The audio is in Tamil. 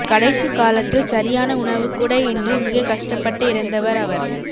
கடைசிக்காலத்தில் சரியான உணவு கூட இன்றி மிக கஷ்டப்பட்டு இறந்தவர அவர்